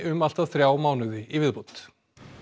um allt að þrjá mánuði í viðbót